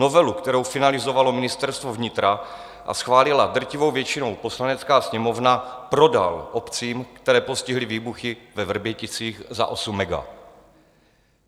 Novelu, kterou finalizovalo Ministerstvo vnitra a schválila drtivou většinou Poslanecká sněmovna, prodal obcím, které postihly výbuchy ve Vrběticích, za osm mega.